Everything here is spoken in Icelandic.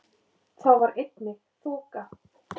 Þá var einnig þoka